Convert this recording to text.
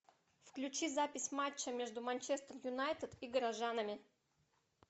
включи запись матча между манчестер юнайтед и горожанами